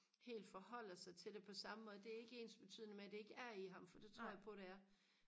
helt forholder sig til det på samme måde det er ikke ensbetydende det ikke er i ham for det tror jeg på det er